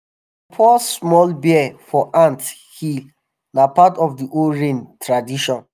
dem pour small beer for ant hill na part of the old rain tradition.